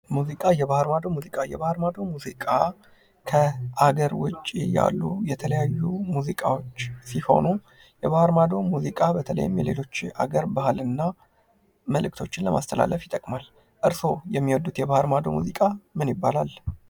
ሙዚቃ የባህር ማዶ ሙዚቃ የባህር ማዶ ሙዚቃ ከሃገር ዉጪ ያሉ የተለያዩ ሙዚቃዎች ሲሆኑ የባህር ማዶ ሙዚቃ በተለይም የሌሎች ሃገር ባህል እና መልክቶችን ለማስተላለፍ ይጠቅማል። እርሶ የሚወዱት የባህር ማዶ ሙዚቃ ምን ይባላል?